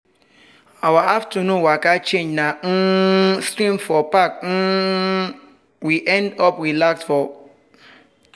our afternoon waka change na um stream for park we um end up relax for.